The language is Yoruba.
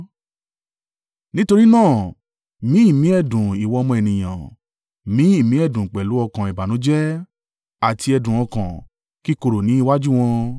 “Nítorí náà, mí ìmí ẹ̀dùn ìwọ ọmọ ènìyàn! Mí ìmí ẹ̀dùn pẹ̀lú ọkàn ìbànújẹ́ àti ẹ̀dùn ọkàn kíkorò ní iwájú wọn.